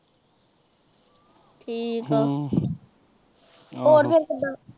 ਠੀਕ ਆ ਹੋਰ ਫਿਰ ਕਿਦਾ।